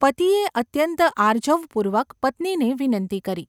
‘ પતિએ અત્યંત આર્જવ પૂર્વક પત્નીને વિનંતી કરી.